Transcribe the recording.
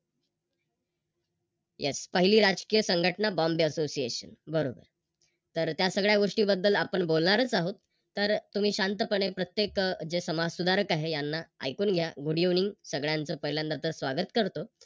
Yes पहिली राजकीय संघटना Bombay association बरोबर. तर त्या सगळ्या गोष्टीबद्दल आपण बोलणारच आहोत तर तुम्ही शांतपणे प्रत्येक जे समाजसुधारक आहे यांना ऐकून घ्या. Good evening सगळ्यांच पहिल्यांदा तर स्वागत करतो.